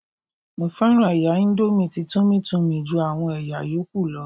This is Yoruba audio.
Mo fẹ́ràn ẹ̀yà índómì tí Tummy Tummy ju àwọn ẹ̀yà yóókù lọ